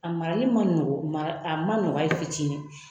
A marali ma nɔgɔ , a ma nɔgɔ hali fitinin.